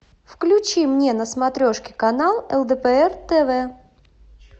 включи мне на смотрешке канал лдпр тв